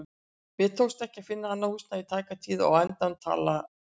Mér tókst ekki að finna annað húsnæði í tæka tíð og á endanum talaði